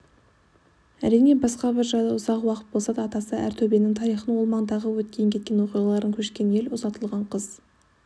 әрине басқа бір жайлы уақыт болса атасы әр төбенің тарихын ол маңдағы өткен-кеткен оқиғаларды көшкен ел ұзатылған қыз